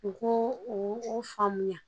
U ko u faamuya